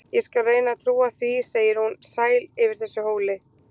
Ég skal reyna að trúa því, segir hún, sæl yfir þessu hóli.